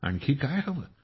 आणखीन काय हवं